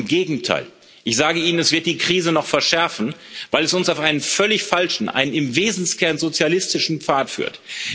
Im Gegenteil, ich sage Ihnen, es wird die Krise noch verschärfen, weil es uns auf einen völlig falschen, einen im Wesenskern sozialistischen Pfad führt.